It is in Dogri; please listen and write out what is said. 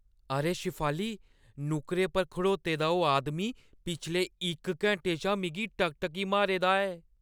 अरे शेफाली, नुक्करै पर खड़्ना ओह् आदमी पिछले इक घैंटे शा मिगी टकटकी मारे दा ऐ।